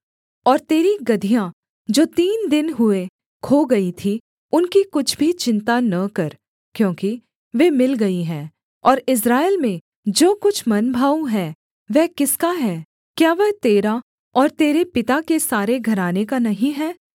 और तेरी गदहियाँ जो तीन दिन हुए खो गई थीं उनकी कुछ भी चिन्ता न कर क्योंकि वे मिल गई है और इस्राएल में जो कुछ मनभाऊ है वह किसका है क्या वह तेरा और तेरे पिता के सारे घराने का नहीं है